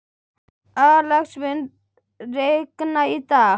Alex, mun rigna í dag?